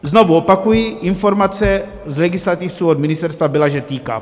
Znovu opakuji, informace z legislativců od ministerstva byla, že týká.